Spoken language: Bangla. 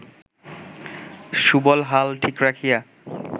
সুবল হাল ঠিক রাখিয়া